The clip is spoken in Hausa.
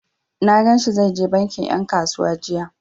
Na gan shi zai je bankin ƴan kasuwa jiya.